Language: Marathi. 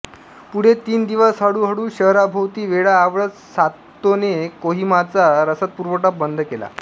पुढे तीन दिवस हळूहळू शहराभोवती वेढा आवळत सातोने कोहिमाचा रसदपुरवठा बंद केला